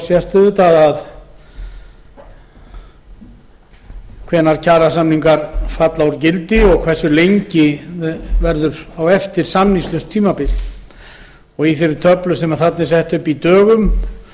sést hvenær kjarasamningar falla úr gildi og hversu langt samningslaust tímabil fylgir á eftir í töflunni sem sett er upp í dögum